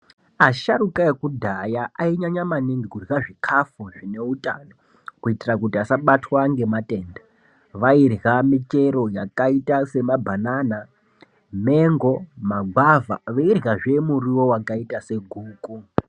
Asharuka ekudhaya ainyanya maningi kurya zvikafu zvine utano kuitira kuti vasabatwa nematenda vairya michero yakaita samabhanana mango magwavha veirywa zve muriwo wakaita seguku.